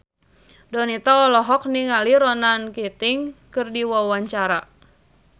Donita olohok ningali Ronan Keating keur diwawancara